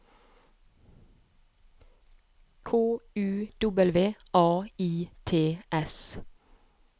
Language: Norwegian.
K U W A I T S